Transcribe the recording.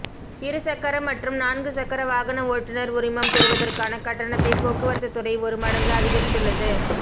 இரு சக்கர மற்றும் நான்குசக்கர வாகன ஓட்டுநர் உரிமம் பெறுவதற்கான கட்டணத்தை போக்குவரத்து துறை ஒரு மடங்கு அதிகரித்துள்ளது